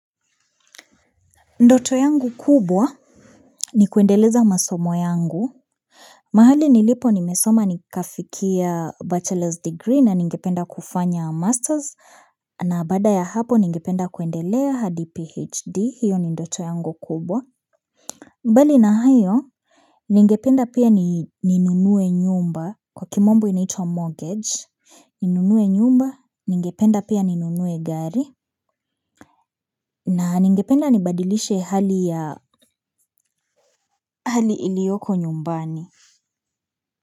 Ndoto yangu kubwa ni kuendeleza masomo yangu mahali nilipo nimesoma nikafikia bachelor's degree na ningependa kufanya masters na baada ya hapo ningependa kuendelea hadi phd hiyo ni ndoto yangu kubwa mbali na hayo ningependa pia ninunue nyumba kwa kimombo inaitwa mortgage ninunue nyumba ningependa pia ninunue gari. Na ningependa nibadilishe hali ya hali iliyoko nyumbani.